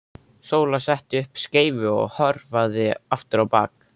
Sóla setti upp skeifu og hörfaði aftur á bak.